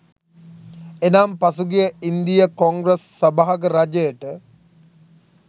එනම් පසුගිය ඉන්දීය කොංග්‍රස් සභාග රජයට